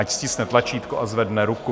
Ať stiskne tlačítko a zvedne ruku.